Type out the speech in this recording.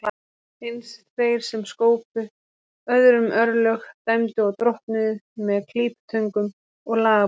Eins þeir sem skópu öðrum örlög, dæmdu og drottnuðu, með klíputöngum og lagabókstaf.